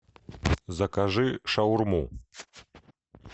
закажи шаурму